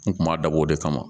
N kun b'a dabɔ o de kama